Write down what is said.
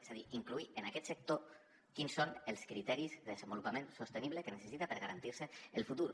és a dir incloure en aquest sector quins són els criteris de desenvolupament sostenible que necessita per garantir se el futur